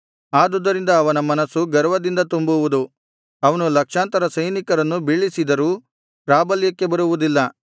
ಆದುದರಿಂದ ಅವನ ಮನಸ್ಸು ಗರ್ವದಿಂದ ತುಂಬುವುದು ಅವನು ಲಕ್ಷಾಂತರ ಸೈನಿಕರನ್ನು ಬೀಳಿಸಿದರೂ ಪ್ರಾಬಲ್ಯಕ್ಕೆ ಬರುವುದಿಲ್ಲ